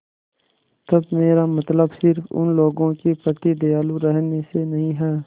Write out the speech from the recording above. तब मेरा मतलब सिर्फ़ उन लोगों के प्रति दयालु रहने से नहीं है